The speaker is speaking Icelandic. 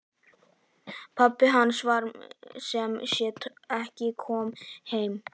Pabbi hans var sem sé ekki kominn heim.